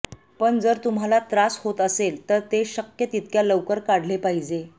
पण जर तुम्हाला त्रास होत असेल तर ते शक्य तितक्या लवकर काढले पाहिजे